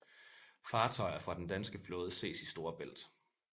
Fartøjer fra den danske flåde ses i Storebælt